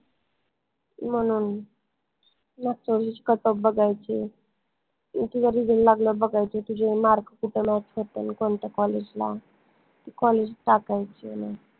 म्हनून cutoff बघायचे इथं जरी बघायचे तुझे mark कुट match होतंय कोनत्या college ला ते college टाकायचे मग